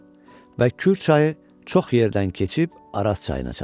Və Kür çayı çox yerdən keçib Araz çayına çatır.